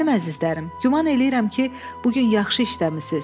Mənim əzizlərim, güman eləyirəm ki, bu gün yaxşı işləmisiniz.